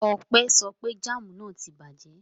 Ọpẹ́ sọ pé jáámù náà tí bàjẹ́.